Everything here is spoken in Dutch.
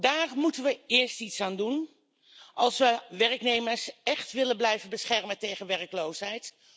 Daar moeten we eerst iets aan doen als we werknemers echt willen blijven beschermen tegen werkloosheid.